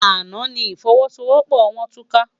Àná ni ifòwòsówòpò wòn túká